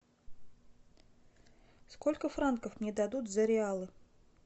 сколько франков мне дадут за реалы